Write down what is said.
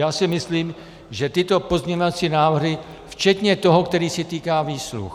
Já si myslím, že tyto pozměňovací návrhy včetně toho, který se týká výsluh.